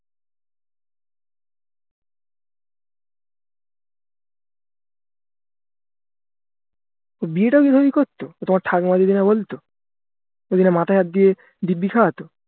বিয়েটা ও কি ওভাবেই করতো যদি ওর ঠাকুমা যদি না বলতো যদি না মাথায় হাত দিয়ে দিব্ব্যি খাওয়াতো